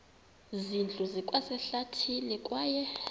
zindlu zikwasehlathini kwaye